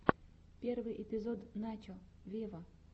первый эпизод начо вево